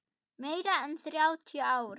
Meira en þrjátíu ár.